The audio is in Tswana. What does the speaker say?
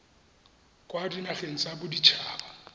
kwa dinageng tsa bodit haba